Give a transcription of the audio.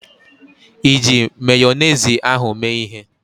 Iji Mayonezi ahụ mee ịhe?